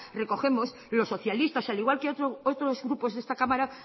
recogemos los socialistas al igual que otros grupos de esta cámara